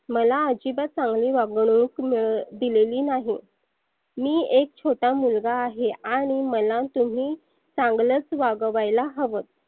मला अजिबात चांगली वागणूक मिळ दिलेली नाही. मी एक छोटा मुलगा आहे आणि मला तुम्ही चांगलच वागवायला हवं.